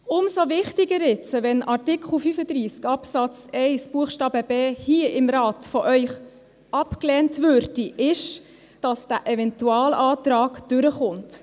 Umso wichtiger ist jetzt, dass – falls Artikel 35 Absatz 1 Buchstabe b hier im Rat von Ihnen abgelehnt wird – der Eventualantrag durchkommt.